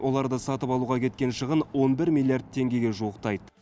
оларды сатып алуға кеткен шығын он бір миллиард теңгеге жуықтайды